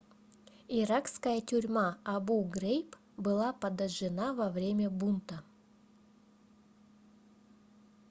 иракская тюрьма абу-грейб была подожжена во время бунта